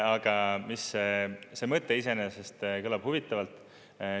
Aga see mõte iseenesest kõlab huvitavalt.